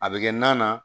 A bɛ kɛ nan na